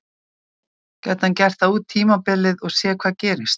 Gæti hann gert það út tímabilið og séð hvað gerist?